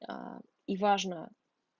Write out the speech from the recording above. а и важно